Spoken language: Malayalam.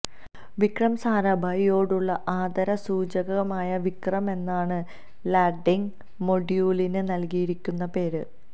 വിക്രം സാരാഭായിയോടുള്ള ആദര സൂചകമായി വിക്രം എന്നാണ് ലാന്ഡിങ് മൊഡ്യൂളിന് നല്കിയിരിക്കുന്ന പേര്